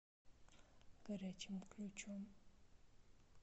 горячим ключом